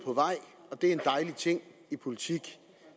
på vej og det er en dejlig ting i politik